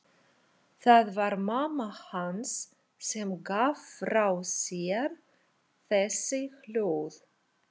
Það var mamma hans sem gaf frá sér þessi hljóð.